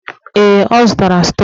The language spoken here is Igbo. Ee, ọ zụtara stọk.